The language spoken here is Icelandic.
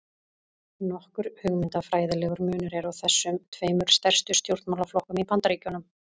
Nokkur hugmyndafræðilegur munur er á þessum tveimur stærstu stjórnmálaflokkum í Bandaríkjunum.